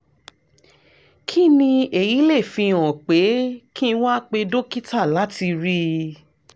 kí ni èyí lè fi hàn pé kí n wá pè dókítà láti rí i?